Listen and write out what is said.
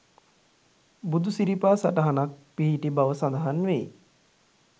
බුදුසිරිපා සටහනක් පිහිටි බව සඳහන් වෙයි.